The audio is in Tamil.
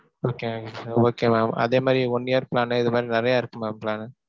Okay ங்க okay mam. அதே மாரி one year plan னு இது மாரி நிறைய இருக்கு mam plan னு.